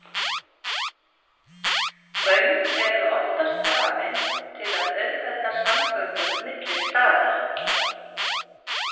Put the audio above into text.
Göng eru oftast grafin til að auðvelda samgöngur milli staða.